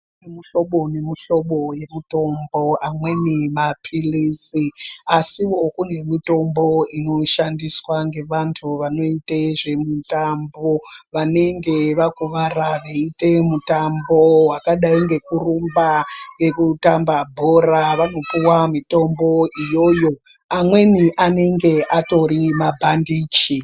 Kune mihlobo nemihlobo yemutombo amweni mapilizi asiwo kune mitombo inoshandiswa ngevanhu vanoite zvemutambo vanenge vakurwara veite mutambao wakadai ngekurumba nekutamba bhora vanopuwa mitombo iyoyo amweni anonga atori mabhandichi.